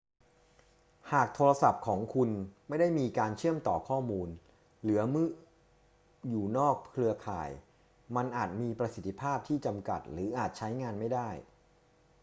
หากโทรศัพท์ของคุณไม่ได้มีการเชื่อมต่อข้อมูล หรือเมื่ออยู่นอกเครือข่าย มันอาจมีประสิทธิภาพที่จำกัด หรืออาจใช้งานไม่ได้